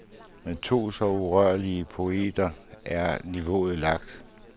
Med to så urørlige poeter er niveauet lagt.